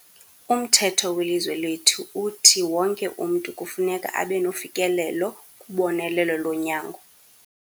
Umthetho welizwe lethu uthi wonke umntu kufuneka abe nofikelelo kubonelelo lonyango.